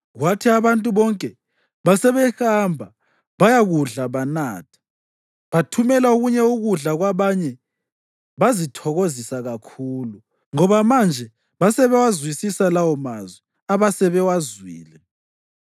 Kwathi abantu bonke basebehamba bayakudla banatha, bathumela okunye ukudla kwabanye bazithokozisa kakhulu, ngoba manje basebewazwisisa lawomazwi abasebewazwile.